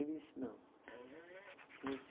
Ele disse, não.